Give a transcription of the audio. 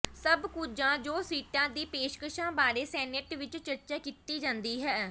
ਸਭ ਕੁਝ ਜੋ ਸੀਟਾਂ ਦੀ ਪੇਸ਼ਕਸ਼ਾਂ ਬਾਰੇ ਸੈਨੇਟ ਵਿਚ ਚਰਚਾ ਕੀਤੀ ਜਾਂਦੀ ਹੈ